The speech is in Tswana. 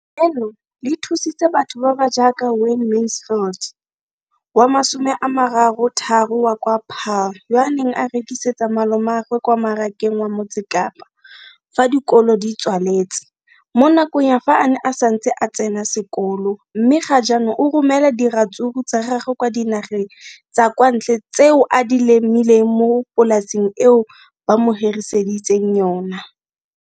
Leno le thusitse batho ba ba jaaka Wayne Mansfield, 33, wa kwa Paarl, yo a neng a rekisetsa malomagwe kwa Marakeng wa Motsekapa fa dikolo di tswaletse, mo nakong ya fa a ne a santse a tsena sekolo, mme ga jaanong o romela diratsuru tsa gagwe kwa dinageng tsa kwa ntle tseo a di lemileng mo polaseng eo ba mo hiriseditseng yona.